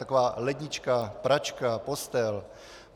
Taková lednička, pračka, postel.